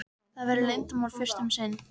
Það verður leyndarmál fyrst um sinn.